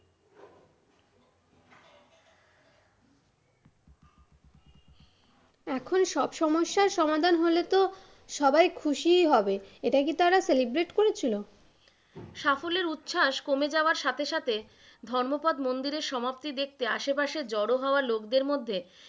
এখন সব সমস্যার সমাধান হলে তো, সবাই খুশিই হবে, এটা কি তারা celebrate করেছিলো? সাফল্যের উচ্ছাস কমে জওয়ার সাথে সাথে ধর্মোপদ মন্দিরের সমাপ্তি দেখতে আশেপাশে জড়ো হওয়া লোকদের মধ্যে,